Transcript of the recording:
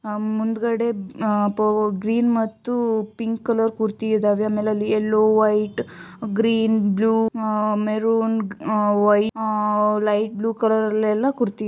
ಆಹ್ ಮುಂದ್ಗಡೆ ಆಹ್ ಅದು ಗ್ರೀನ್ ಮತ್ತು ಪಿಂಕ್ ಕಲರ್ ಕುರ್ತಿ ಇದಾವೆ ಆಮೇಲೆ ಅಲ್ಲಿ ಎಲ್ಲೋ white green blue ah maroon ah white ah light blue ಕಲ್ಲರ ಲ್ಲೆಲ್ಲಾ ಕುರ್ತಿ ಇದಾವೆ.